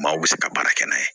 Maaw bɛ se ka baara kɛ n'a ye